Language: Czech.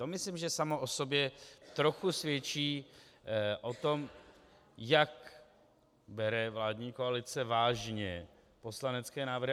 To myslím, že samo o sobě trochu svědčí o tom, jak bere vládní koalice vážně poslanecké návrhy.